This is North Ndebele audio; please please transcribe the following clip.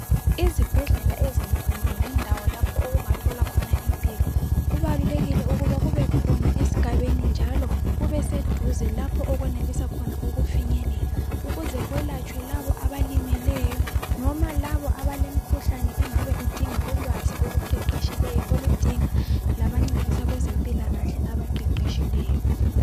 IZibhedlela ezinkulu lendawo lapho okungatholwa khona impilo kubalulekile ukuba kukhona esigabeni njalo kubeseduze lapho okwenelisa khona ukufinyelela, ukuze labo abelatshwayo, abalimeleyo noma laba abalemikhuhlane engabe idinga ulwazi oluqeqetshileyo noma abezempilakahle abaqeqetshileyo.